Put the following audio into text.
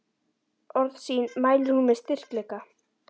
Orð sín mælir hún með styrkleika.